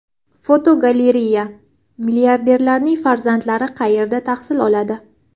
Fotogalereya: Milliarderlarning farzandlari qayerda tahsil oladi?.